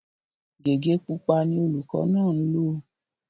Gégé pupa ni olùkọ́ náà ń lò